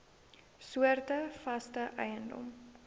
soorte vaste eiendom